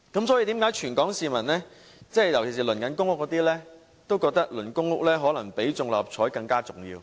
所以，為何全港市民，尤其是正在輪候公屋的市民，都覺得輪候公屋可能比中六合彩更重要？